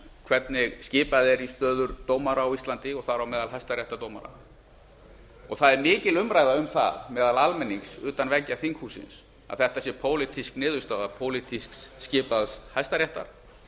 hvernig skipað er í stöður dómara á íslandi þar á meðal hæstaréttardómara það er mikil umræða um það meðal almennings utan veggja þinghússins að þetta sé pólitísk niðurstaða pólitískt skipað hæstaréttar